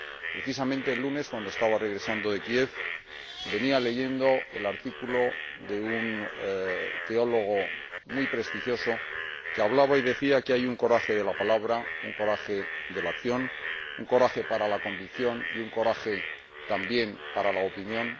Precisamente el lunes, cuando estaba regresando de Kiev, venía leyendo un artículo de un teólogo muy prestigioso, que decía que hay un coraje de la palabra, un coraje de la acción, un coraje para la convicción y un coraje también para la opinión